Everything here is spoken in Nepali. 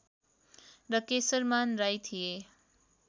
र केशरमान राई थिए